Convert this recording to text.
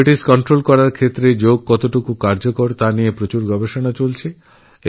diabetes নিয়ন্ত্রণে যোগকতটা কার্যকরী এই বিষয়ে অনেক পরীক্ষানিরীক্ষা চলছে